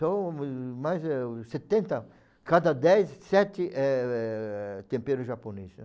São mais eh o setenta, cada dez, sete, eh, tempero japoneses.